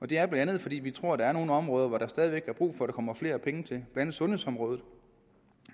det er bla fordi vi tror der er nogle områder hvor der stadig væk er brug for at der kommer flere penge det gælder andet sundhedsområdet